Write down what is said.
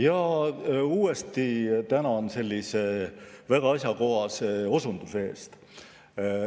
Jaa, uuesti tänan sellise väga asjakohase osunduse eest.